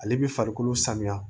Ale bi farikolo sanuya